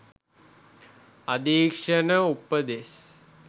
අධීක්ෂණ උපදෙස්